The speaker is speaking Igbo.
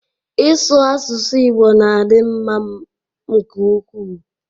Ị sụ asụsụ Igbo na-adị m mma nke ukwuu